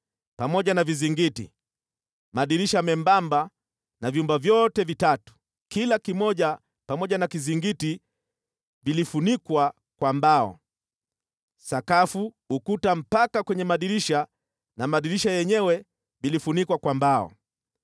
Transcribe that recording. pamoja na vizingiti, madirisha membamba na vyumba vyote vitatu, kila kimoja pamoja na kizingiti vilifunikwa kwa mbao. Sakafu, ukuta mpaka kwenye madirisha na madirisha yenyewe vilifunikwa kwa mbao.